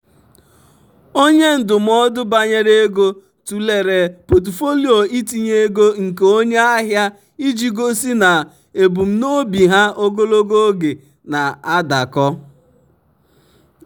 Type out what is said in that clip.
onye ndụmọdụ banyere ego tụlere pọtụfoliyo itinye ego nke onye ahịa iji gosi na ebumnobi ha ogologo oge na-adakọ.